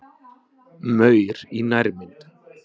Maur í nærmynd.